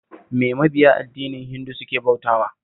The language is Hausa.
Me mabiya addinin Hindu suke bautawa?